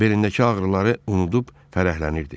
Belindəki ağrıları unudub fərəhlənirdi.